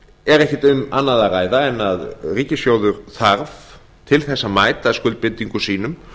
er ekki um annað að ræða en ríkissjóður þarf til að mæta skuldbindingum sínum